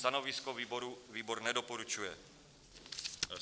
Stanovisko výboru: výbor nedoporučuje.